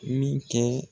Min kɛ